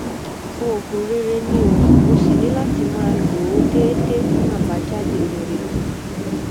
oògùn rere ni o o sì ní láti máa lo o déédéé fún àbájáde rere